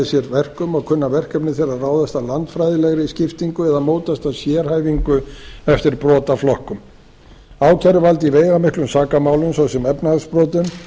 sér verkum og kunna verkefni þeirra að ráðast af landfræðilegri skiptingu eða mótast af sérhæfingu eftir brotaflokkum ákæruvald í veigamiklum sakamálum svo sem efnahagsbrotum